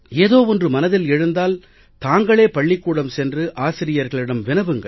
ஏதோ ஒன்று மனதில் எழுந்தால் தாங்களே பள்ளிக்கூடம் சென்று ஆசிரியர்களிடம் வினவுங்கள்